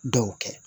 Dɔw kɛ